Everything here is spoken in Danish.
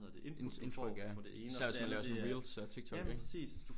Indtryk ja især hvis man laver sådan nogle reels og TikTok ik